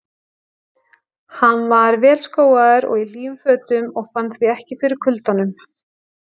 Hann var vel skóaður og í hlýjum fötum og fann því ekki fyrir kuldanum.